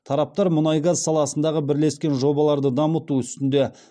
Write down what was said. тараптар мұнай газ саласындағы бірлескен жобаларды дамыту үстінде